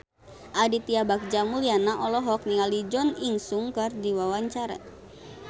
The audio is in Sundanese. Aditya Bagja Mulyana olohok ningali Jo In Sung keur diwawancara